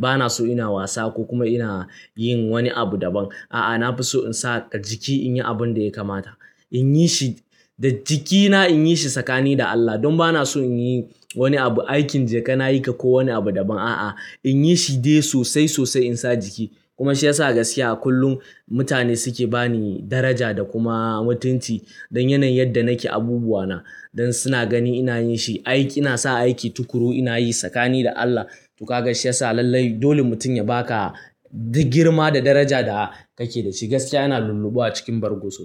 Bana so ina wasa ko kuma ina yin wani abu daban. A'a, na fi so in sa jiki in yi abin da ya kamata. In yi shi da jikina in yi shi tsakani da Allah. Don bana so in yi wani abu aikin jeka na yi ka ko wani abu daban. A'a, in yi shi dai sosai sosai in sa jiki. Kuma shiyasa gaskiya kullum mutane suke bani daraja da kuma mutunci don yanayin yadda nake abubuwana. Don suna gani ina yin shi aiki, ina sa aiki tukuru ina yi tsakani da Allah. To ka ga shiyasa lallai dole mutum ya baka duk girma da daraja da kake da shi. Gaskiya ina lulluɓuwa cikin bargo sosai.